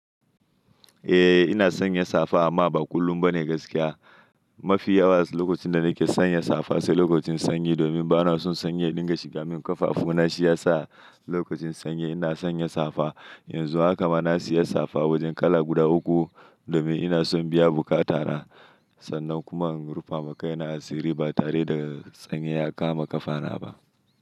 Eh ina sanya safa amma ba kullum ba ne gaskiya. Mafi yawa lokacin da nake sanya safa sai lokacin sanyi domin bana son sanyi ya dinga shiga min ƙafafu. Na shi ya sa lokacin sanyi ina sanya safa. Yanzu haka ma na siya safa wajen kala guda uku domin ina son biya buƙatana sannan kuma in rufa ma kaina asiri ba tare da sanyi ya kama ƙafana ba.